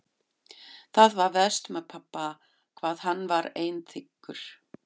Það var verst með pabba hvað hann var einþykkur.